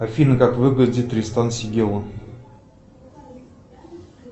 афина как выглядит тристан сегела